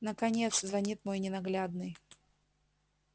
наконец звонит мой ненаглядный